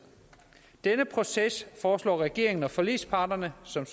denne proces foreslår regeringen og forligsparterne som